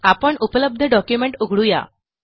आपण उपलब्ध डॉक्युमेंट उघडू या